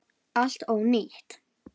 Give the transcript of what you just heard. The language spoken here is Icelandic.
Allt ónýtt!